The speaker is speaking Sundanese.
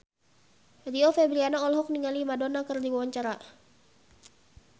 Rio Febrian olohok ningali Madonna keur diwawancara